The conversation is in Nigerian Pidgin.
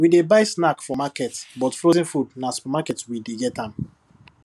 we dey buy snack for market but frozen food na supermarket we dey get am